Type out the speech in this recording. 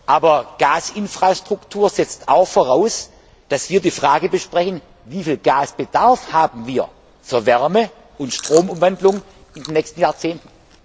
Aber Gasinfrastruktur setzt auch voraus, dass wir die Frage besprechen Wie viel Gasbedarf haben wir für Wärme und Stromumwandlung in den nächsten Jahrzehnten?